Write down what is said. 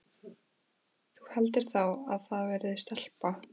Þú heldur þá að það verði stelpa?